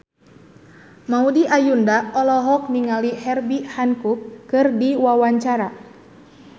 Maudy Ayunda olohok ningali Herbie Hancock keur diwawancara